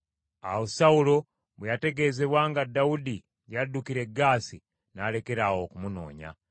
Awo Sawulo bwe yategeezebwa nga Dawudi yaddukira e Gaasi n’alekeraawo okumunoonya.